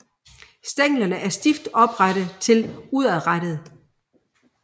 Stænglerne er stift oprette til udadrettede